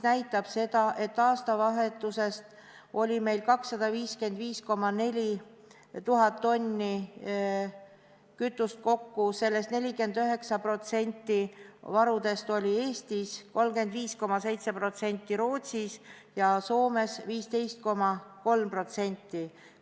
Aastavahetusel oli meil 255 400 tonni kütust, 49% varudest olid Eestis, 35,7% Rootsis ja 15,3% Soomes.